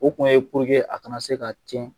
O kun ye a kana se ka tiɲɛ